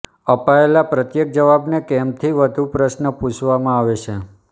અપાયેલા પ્રત્યેક જવાબને કેમથી વધુ પ્રશ્ન પુછવામાં આવે છે